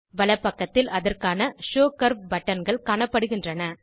வலப்பக்கத்தில் அதற்கான show curve பட்டன்கள் காணப்படுகின்றன